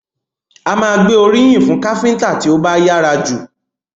A máa gbé oríyìn fún káfíńńtà tí ó bá yára jù.